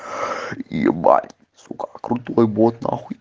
ебать сука крутой бот нахуй